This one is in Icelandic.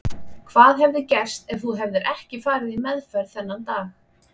Hvað hefði gerst ef þú hefðir ekki farið í meðferð þennan dag?